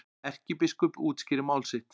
Erkibiskup útskýrir mál sitt